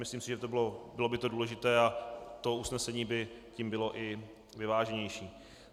Myslím si, že by to bylo důležité a to usnesení by tím bylo i vyváženější.